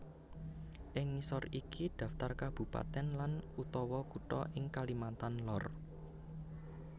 Ing ngisor iki dhaptar kabupatèn lan utawa kutha ing Kalimantan Lor